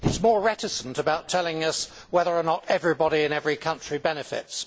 It is more reticent about telling us whether or not everybody in every country benefits.